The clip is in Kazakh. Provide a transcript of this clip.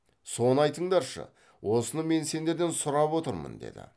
соны айтыңдаршы осыны мен сендерден сұрап отырмын деді